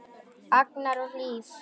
Agnar og Hlíf.